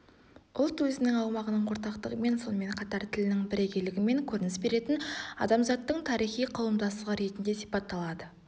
ұлт өзінің аумағының ортақтығымен сонымен қатар тілінің бірегейлігімен көрініс беретін адамзаттың тарихи қауымдастығы ретінде сипатталады